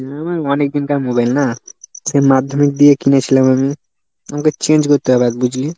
হম অনেক দিনকার মোবাইল না মাধ্যমিক দিয়ে কিনেছিলাম আমি। আমাকে change করতে হবে আজ বুঝলি।